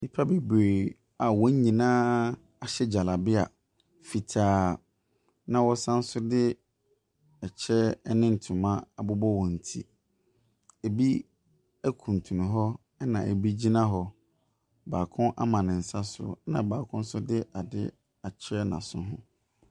Nnipa bebree a wɔn nyinaa ahya gyalabea fitaa, na wɔsan nso kyɛ ne ntoma abobɔ wɔn ti. Ebi kuntunu hɔ, ɛnna ebi gyina hɔ. Baako ama ne nsa so, ɛnna baako nso de adeɛ akyerɛ n'aso ho.